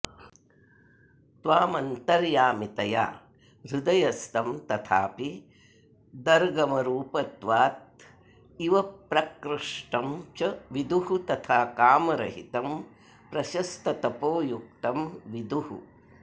त्वामन्तर्यामितया हृदयस्थं तथापि दर्गमरूपत्वादि्वप्रकृष्टं च विदुः तथा कामरहितं प्रशस्ततपोयुक्तं विदुः